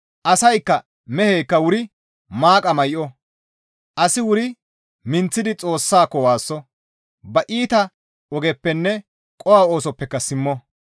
Asaykka meheykka wuri maaqa may7o; asi wuri minththidi Xoossako waasso; ba iita ogeppenne qoho oosoppeka simmo.